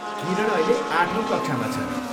किरण अहिले आठौँ कक्षामा छन्।